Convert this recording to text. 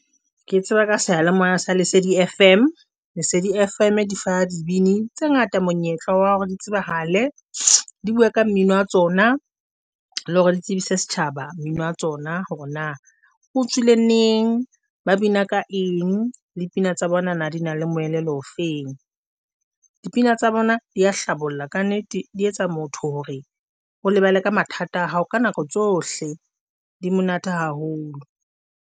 Ke tseba ka seyalemoya sa Lesedi Fm. Lesedi Fm di fa dibini tse ngata monyetla wa hore di tsebahale di bua ka mmino wa tsona, le hore di tsebise setjhaba mmino wa tsona. Hore na o tswile neng, ba bina ka eng. Dipina tsa bona di na le moelelo ofeng, dipina tsa bona di a hlabolla ka nnete, di etsa motho hore o lebale ka mathata a hao ka nako tsohle di monate haholo.